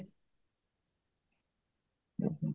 ହୁଁ ହୁଁ